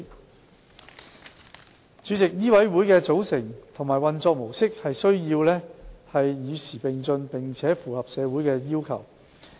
代理主席，醫委會的組成和運作模式需要與時並進，並且符合社會要求。